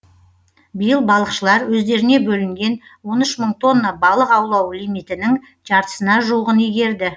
биыл балықшылар өздеріне бөлінген он үш мың тонна балық аулау лимитінің жартысына жуығын игерді